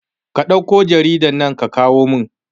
Ka ɗauke jaridan nan ka kawo min sabowa